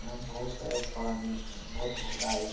यहाँ बहोत सारे पानी है बहोत गहराई --